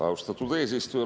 Austatud eesistuja!